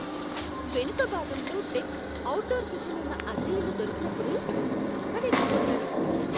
వెనుక భాగంలో deck, outdoor kitchen ఉన్న అద్దె ఇల్లు దొరికినప్పుడు నమ్మలేకపోయాను.